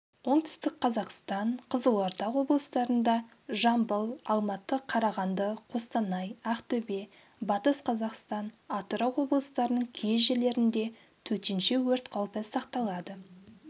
оңтүстік қазақстан қызылорда облыстарында жамбыл алматы қарағанды қостанай ақтөбе батыс қазақстан атырау облыстарының кей жерлерінде төтенше өрт қаупі сақталады